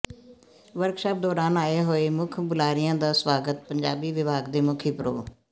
workshop ਦੌਰਾਨ ਆਏ ਹੋਏ ਮੁਖ ਬੁਲਾਰਿਆਂ ਦਾ ਸਵਾਗਤ ਪੰਜਾਬੀ ਵਿਭਾਗ ਦੇ ਮੁਖੀ ਪ੍ਰੋ